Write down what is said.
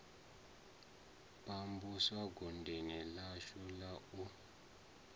pambusa godoni ḽashu la u